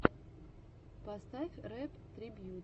поставь рэп трибьют